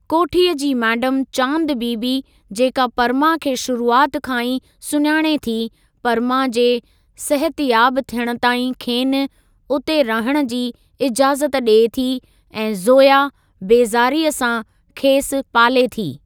कोठीअ जी मैडम चांद बीबी जेका परमा खे शुरूआति खां ई सुञाणे थी परमा जे सहतयाब थियणु ताईं खेनि उते रहण जी इजाज़त ॾिए थी ऐं ज़ोया बेज़ारीअ सां खेसि पाले थी।